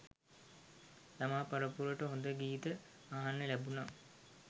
ළමා පරපුරට හොඳ ගීත අහන්න ලැබුන.